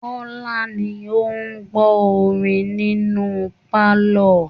Kọ́lá ni ó ń gbọ́ orin nínù pálọ̀